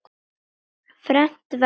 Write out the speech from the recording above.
fermt verður.